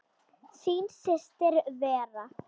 Þín systir Vera.